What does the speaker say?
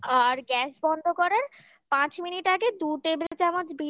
আর gas বন্ধ করার পাঁচ মিনিট আগে দু table চামচ বিরিয়ানির